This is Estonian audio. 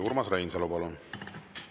Urmas Reinsalu, palun!